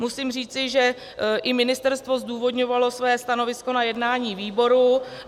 Musím říci, že i ministerstvo zdůvodňovalo své stanovisko na jednání výboru.